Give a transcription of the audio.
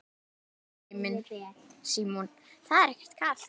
Símon: Það er ekkert kalt?